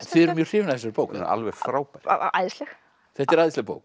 þið eruð mjög hrifin af þessari bók hún er alveg frábær æðisleg þetta er æðisleg bók